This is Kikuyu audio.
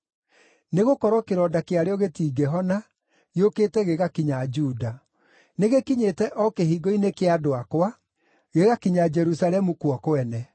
Nĩgũkorwo kĩronda kĩarĩo gĩtingĩhona; gĩũkĩte gĩgakinya Juda. Nĩgĩkinyĩte o kĩhingo‑inĩ kĩa andũ akwa, gĩgakinya Jerusalemu kuo kwene.